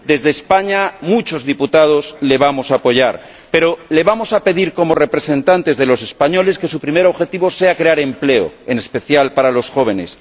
Desde España, muchos diputados le vamos a apoyar, pero le vamos a pedir como representantes de los españoles que su primer objetivo sea crear empleo, en especial para los jóvenes